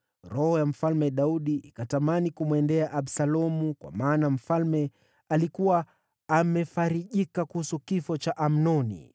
Roho ya Mfalme Daudi ikatamani kumwendea Absalomu, kwa maana mfalme alikuwa amefarijika kuhusu kifo cha Amnoni.